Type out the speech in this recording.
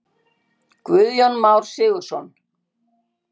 Guðjón Már Sigurðsson.